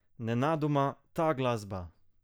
Nenadoma, ta glasba!